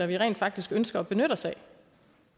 vi rent faktisk ønsker at benytte os af